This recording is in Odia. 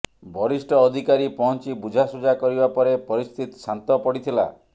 ବରିଷ୍ଠ ଅଧିକାରୀ ପହଞ୍ଚି ବୁଝାସୁଝା କରିବା ପରେ ପରିସ୍ଥିତି ଶାନ୍ତ ପଡ଼ିଥିଲା